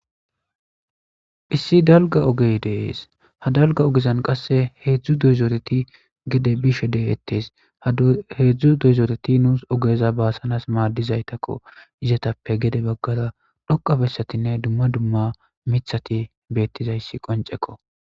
issi dalga ogey dees ha dalga ogezan qasse heedzdzu doyzooreti gede bishe degetes heedzdzu doyzooreti nuus ogeza baasanas maaddizaytakko izetappe gede baggara dhoqabessatinne dumma dumma mithati beettizayssi qonceko